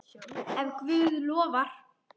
Ef Guð lofar.